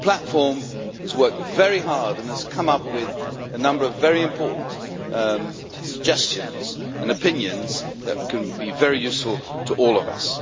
The platform has worked very hard and has come up with a number of important suggestions and opinions that can be very useful to all of us.